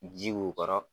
Ji k'u kɔrɔ